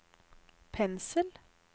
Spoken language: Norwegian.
pensel